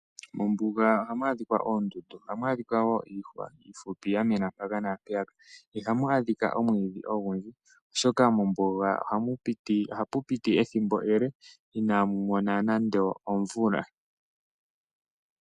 Mombuga ohamu adhikwa oondundu, ohamu adhika wo iihwa iifupi ya mena mpaka naampeyaka. Ihamu adhika omwiidhi ogundji oshoka mombuga ohapu piti ethimbo ele inamu mona nande omvula.